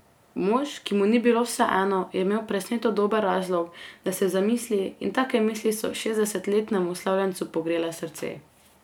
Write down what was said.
Mož, ki mu ni bilo vseeno, je imel presneto dober razlog, da se zamisli, in take misli so šestdesetletnemu slavljencu pogrele srce.